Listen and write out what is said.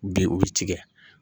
Bi o bɛ tigɛ